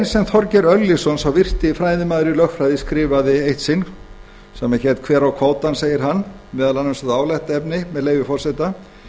þjóðanna þorgeir örlygsson sá virti fræðimaður í lögfræði skrifaði eitt sinn grein sem hét hver á kvótann í umfjöllun í morgunblaðinu segir með leyfi forseta